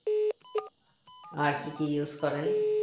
আর কি কি use করেন